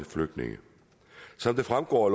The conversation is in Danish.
flygtninge som det fremgår